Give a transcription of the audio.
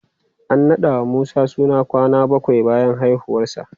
An naɗa wa Musa suna kwana bakwai bayan haifuwarsa.